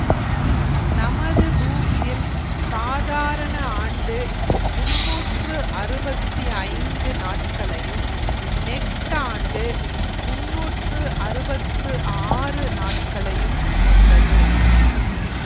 நமது பூமியில் சாதாரண ஆண்டு முன்னூற்று அறுவத்தி ஐந்து நாட்களையும் நெட்டாண்டு முன்னூற்று அறுவத்து ஆறு நாட்களையும் கொண்டது